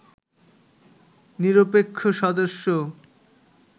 নিরপেক্ষ সদস্য